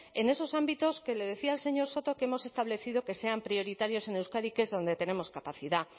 en esos ámbitos que le decía al señor soto que hemos establecido que sean prioritarios en euskadi que es donde tenemos capacidad